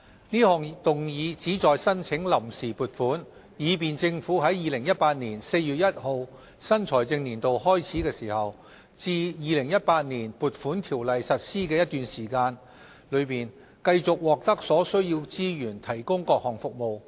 這項議案旨在申請臨時撥款，以便政府在2018年4月1日新財政年度開始至《2018年撥款條例》實施的一段期間，繼續獲得所需資源提供各項服務。